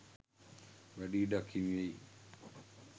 වැඩි ඉඩක් හිමි වෙයි.